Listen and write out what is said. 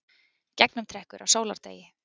Gegnumtrekkur á sólardegi.